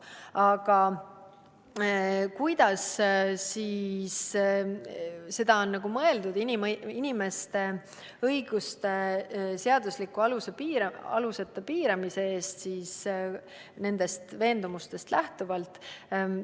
Aga mida on mõeldud sellega, et inimeste õiguste seadusliku aluseta piiramise eest nende veendumustest lähtuvalt?